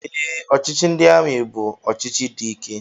Ee, ọchịchị ndị amị bu ọchịchị dị ike